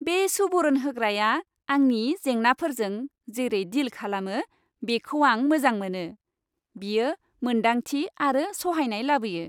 बे सुबुरुन होग्राया आंनि जेंनाफोरजों जेरै डिल खालामो बेखौ आं मोजां मोनो। बियो मोनदांथि आरो सहायनाय लाबोयो।